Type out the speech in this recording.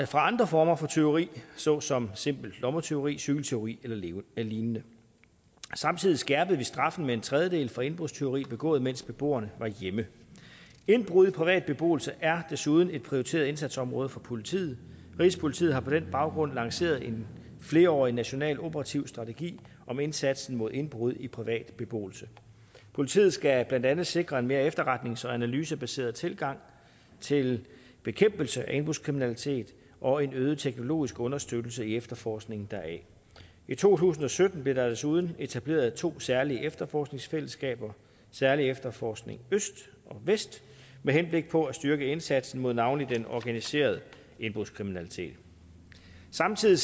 fra andre former for tyveri såsom simpelt lommetyveri cykeltyveri eller lignende samtidig skærpede vi straffen med en tredjedel for indbrudstyveri begået mens beboerne var hjemme indbrud i privat beboelse er desuden et prioriteret indsatsområde for politiet rigspolitiet har på den baggrund lanceret en flerårig national operativ strategi om indsatsen mod indbrud i privat beboelse politiet skal blandt andet sikre en mere efterretnings og analysebaseret tilgang til bekæmpelse af indbrudskriminalitet og en øget teknologisk understøttelse i efterforskningen deraf i to tusind og sytten blev der desuden etableret to særlige efterforskningsfællesskaber særlig efterforskning øst og vest med henblik på at styrke indsatsen mod navnlig den organiserede indbrudskriminalitet samtidig